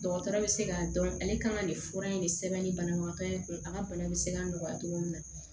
Dɔgɔtɔrɔ bɛ se k'a dɔn ale kan ka nin fura in de sɛbɛn ni banabagatɔ ye kun a ka bana bɛ se ka nɔgɔya cogo min na